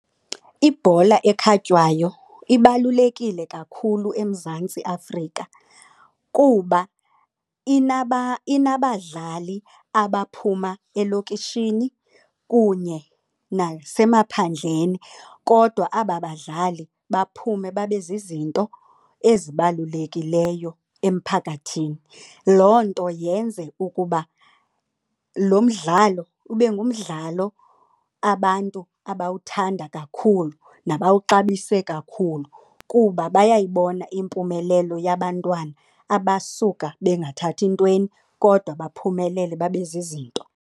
Ibhola ekhatywayo ibalulekile kakhulu eMzantsi Afrika kuba inabadlali abaphuma elokishini kunye nasemaphandleni kodwa aba badlali baphume babe zizinto ezibalulekileyo emphakathini. Loo nto yenze ukuba lo mdlalo ube ngumdlalo abantu abawuthanda kakhulu nabawuxabise kakhulu kuba bayayibona impumelelo yabantwana abasuka bengathathi ntweni kodwa baphumelele babe zizinto.